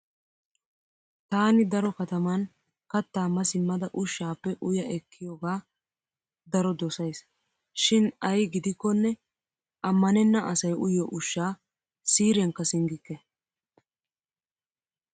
Taani daro kataman kattaa ma simmada ushshaappe uya ekkiyoga daro dosays. Shin ay gidikkonne ammanenna asay uyiyo ushshaa siiriyankka singgikke.